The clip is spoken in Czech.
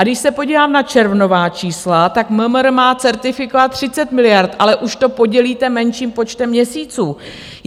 A když se podívám na červnová čísla, tak MMR má certifikovat 30 miliard, ale už to podělíte menším počtem měsíců.